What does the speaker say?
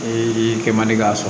Ee kɛ man di k'a sɔrɔ